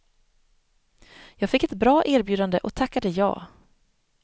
Jag fick ett bra erbjudande och tackade ja.